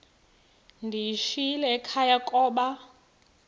ndiyishiyile ekhaya koba